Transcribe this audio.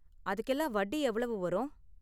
அதுக்கெல்லாம் வட்டி எவ்வளவு வரும்?